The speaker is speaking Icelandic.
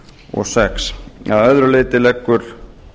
og sex að öðru leyti leggur